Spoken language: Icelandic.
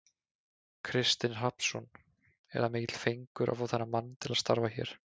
Kristinn Hrafnsson: Er það mikill fengur að fá þennan mann til starfa hér?